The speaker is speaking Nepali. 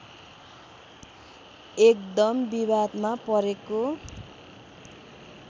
एकदम विवादमा परेको